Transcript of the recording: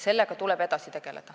Taavi Rõivas, palun!